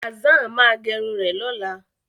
Hazzan máa gẹrun rẹ̀ lọ́la.